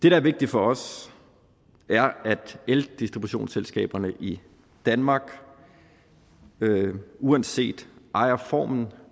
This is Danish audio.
er vigtigt for os er at eldistributionsselskaberne i danmark uanset ejerform